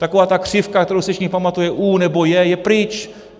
Taková ta křivka, kterou si všichni pamatují, U nebo J, je pryč.